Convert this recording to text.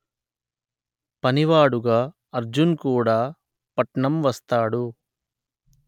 పని వాడుగా అర్జున్ కూడా పట్నం వస్తాడు